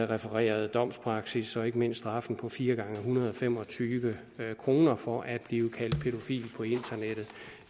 refererede domspraksis og ikke mindst straffen på fire gange en hundrede og fem og tyve kroner for at blive kaldt pædofil på internettet